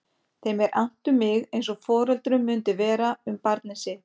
Þeim er annt um mig eins og foreldrum mundi vera um barnið sitt.